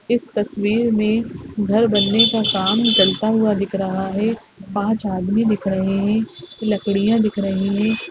इस तस्वीर में घर बनने का काम चलता हुआ दिख रहा है पाँच आदमी दिख रहे है लकड़ियाँ दिख रही हैं।